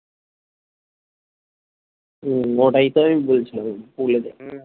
হম ওটাই তো আমি বলছিলাম বলে দেখ হম